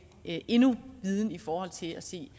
endnu viden i forhold til at se